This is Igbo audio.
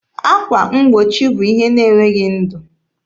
Akwa mgbochi bụ ihe na-enweghị ndụ.